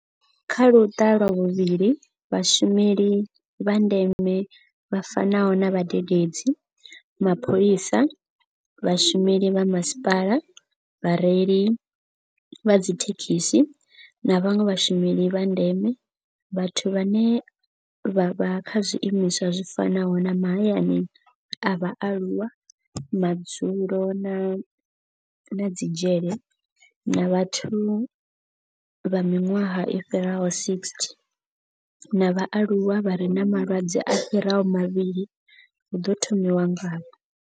Kha Luṱa lwa vhuvhili, vhashumeli vha ndeme vha fanaho na vhadededzi, mapholisa, vhashumeli vha masipala, vhareili vha dzithe khisi na vhanwe vhashumeli vha ndeme, vhathu vhane vha vha kha zwiimiswa zwi fanaho na mahayani a vhaaluwa, madzulo na dzi dzhele, na vhathu vha miṅwaha i fhiraho 60 na vhaaluwa vha re na malwadze a fhiraho mavhili hu ḓo thomiwa ngavho.